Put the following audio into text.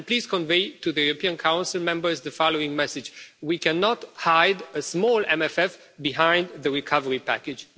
Please convey to the European Council members the following message we cannot hide a small MFF behind the recovery package.